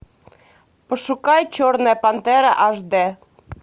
пошукай черная пантера аш д